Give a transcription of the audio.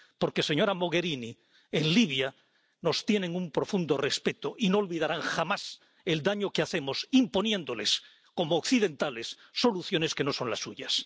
Porque, señora Mogherini, en Libia nos tienen un profundo respeto y no olvidarán jamás el daño que hacemos imponiéndoles, como occidentales, soluciones que no son las suyas